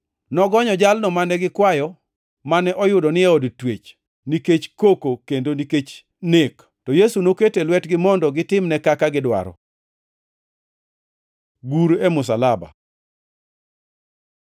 Nogonyo jalno mane gikwayo, mane oyudo ni e od twech nikech koko kendo nikech nek, to Yesu noketo e lwetgi mondo gitimne kaka gidwaro. Gur e msalaba